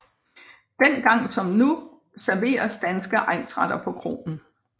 Dengang som nu serveres danske egnsretter på kroen